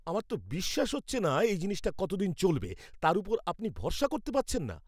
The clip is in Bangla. আমার তো বিশ্বাস হচ্ছে না এই জিনিসটা কতদিন চলবে তার ওপর আপনি ভরসা করতে পারছেন না!